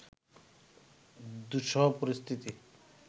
দুঃসহ পরিস্থিতি